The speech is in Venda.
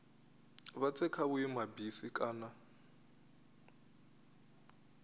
vha tse kha vhuimabisi kana